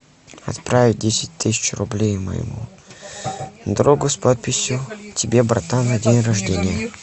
отправить десять тысяч рублей моему другу с подписью тебе братан на день рождения